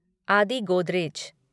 आदि गोदरेज